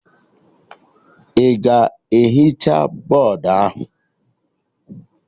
Ị ga-ehicha bọdụ ahụ?